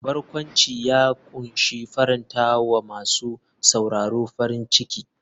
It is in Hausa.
Barkwanci ya kunshi faranta wa masu sauraro farin ciki.